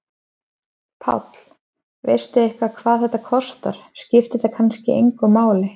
Páll: Veistu eitthvað hvað þetta kostar, skiptir það kannski engu máli?